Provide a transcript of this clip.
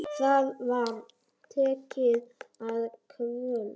Það var tekið að kvölda.